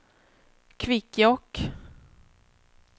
Kvikkjokk